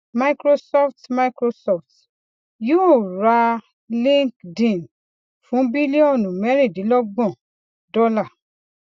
microsoft microsoft yóò ra linkedin fún bílíọnù mẹrìndínlọgbọn dọlà